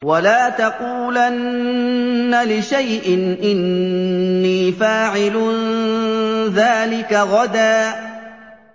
وَلَا تَقُولَنَّ لِشَيْءٍ إِنِّي فَاعِلٌ ذَٰلِكَ غَدًا